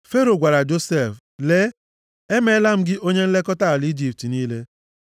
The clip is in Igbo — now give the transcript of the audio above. Fero gwara Josef, “Lee, emeela m gị onye nlekọta ala Ijipt niile.”